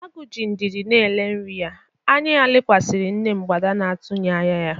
Agu ji ndidi na-ele nri ya, anya ya lekwasiri nne mgbada na-atụghị anya ya.